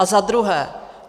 A za druhé.